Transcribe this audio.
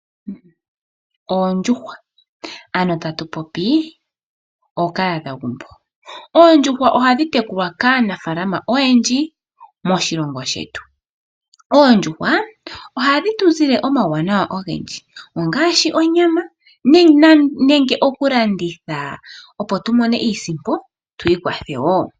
Oondjuhwa ano tatu popi ookahadha gumbo. Oondjuhwa ohadhi tekulwa kaanafaalama oyendji moshilongo shetu. Oondjuhwa ohadhi tuzile omauwanawa ogendji ngaashi onyama nenge okulanditha, opo tu mone iisimpo tu ikwathe woo.